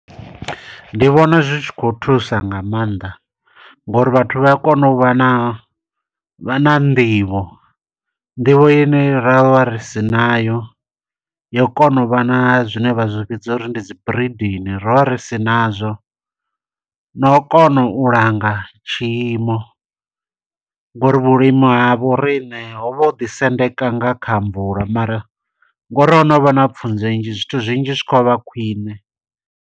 Ndi vhona zwi tshi khou thusa nga maanḓa, ngo uri vhathu vha a kona u vha na, vha na nḓivho. Nḓivho ine ro vha ri si nayo, yo u kona u vha na zwine vha zwi fhedza uri ndi dzi breeding, ro vha ri si nazwo. No u kona u langa tshiimo, ngo uri vhulimi havho riṋe ho vha ho ḓi sendeka nga kha mvula, mara ngo uri ho no vha na pfunzo nnzhi, zwithu zwinzhi zwi khou vha khwiṋe.